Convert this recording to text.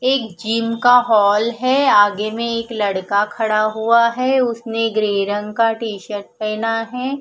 एक जिम का हॉल है आगे में एक लड़का खड़ा हुआ है उसने ग्रे रंग का टी शर्ट पहेना है।